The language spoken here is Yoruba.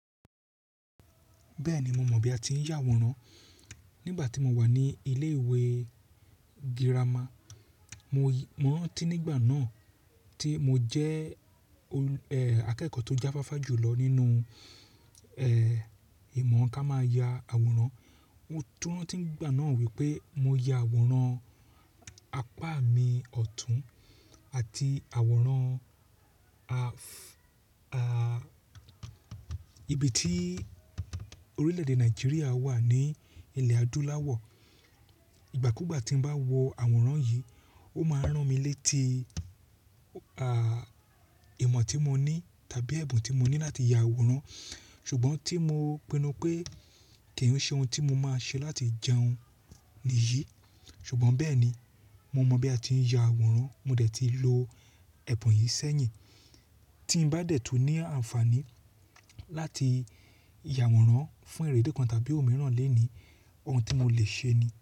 Bẹ́ẹ̀ni, mo mọ̀ bí a ti ń ya àwòrán. Nígbà tí mo wà ní ilé ìwé girama, mo rantí nígbà náà tí mo jẹ́ akẹ́kọ̀ọ́ tó jáfáfá jù lọ nínú ẹ̀ ìmọ̀ ká máa ya àwòrán. Mo tún ranti nígbà náà wípé mo ya àwòrán apá mi ọ̀tún àti àwòrán ibi tí orílẹ̀ èdè Nàìjíríà wà ní ilẹ̀ adúláwọ̀. Ìgbà kúùgbà tí mo bá wo àwòrán yìí, ó máa n rán mi létí ìmọ̀ tí mo ní tàbí ẹ̀bùn tí mo ní láti ya àwòrán. Ṣùgbọ́n tí mo pinnu pé kì í ṣe ohun tí mo máa ṣe láti jẹun nìyí. Ṣùgbọ́n bẹ́ẹ̀ ni, mo mọ̀ bí a ti ń ya àwòrán. Mo dẹ̀ ti lo ẹ̀bùn yìí sẹ́yìn. Tí n bá dẹ̀ tún ní àǹfààní láti ya àwòrán fún erédi kan tàbí ohun mìíràn léèní, ohun tí mo lè ṣe ni.